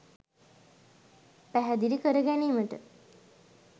පැහැදිලි කරගැනීමට